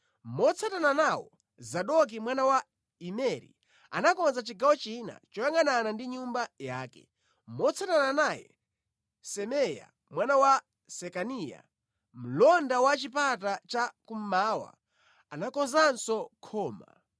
Motsatana nawo, Zadoki mwana wa Imeri anakonza chigawo china choyangʼanana ndi nyumba yake. Motsatana naye, Semeya mwana wa Sekaniya, mlonda wa Chipata cha Kummawa, anakonzanso khoma.